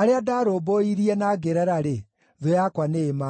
arĩa ndarũmbũirie na ngĩrera-rĩ, thũ yakwa nĩĩmanangĩte.”